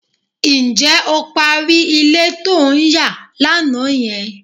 Ǹjẹ́ o parí ilé to ń yà lánàá yẹn?